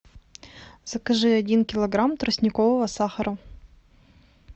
закажи один килограмм тростникового сахара